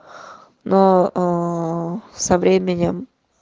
но ээ со временем